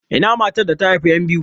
Ina matar da ta haifi yan biyu?